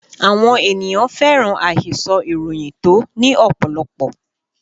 Àwọn ènìyàn fẹ́ràn àhesọ ìròyìn tó ní ọ̀pọ̀lọpọ̀